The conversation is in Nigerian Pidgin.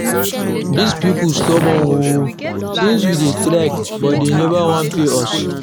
Dis people stubborn oo, since we dey strike but dey never wan pay us